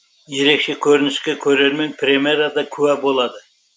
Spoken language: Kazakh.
ерекше көрініске көрермен премьерада куә болады